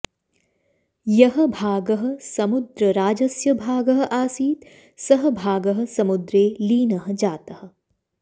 यः भागः स्मुद्रराजस्य भागः आसीत् सः भागः समुद्रे लीनः जातः